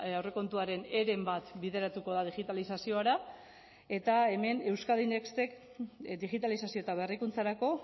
aurrekontuaren heren bat bideratuko da digitalizaziora eta hemen euskadi nextek digitalizazio eta berrikuntzarako